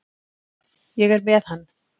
Ég er með hann.